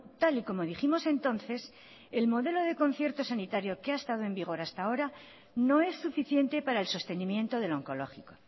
tal y como dijimos entonces el modelo de concierto sanitario que ha estado en vigor hasta ahora no es suficiente para el sostenimiento del oncológico